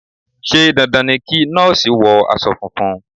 Ṣé dandan ni kí Nọ́ọ̀sì wọ aṣọ funfun.?